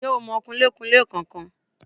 Ǹ jẹ́ o mọ kunlékunlé kan kan